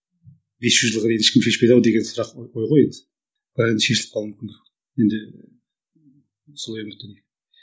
бес жүз жылға дейін ешкім шешпейді ау деген сұрақ қой ал енді шешіліп қалуы мүмкін енді солай үміттенемін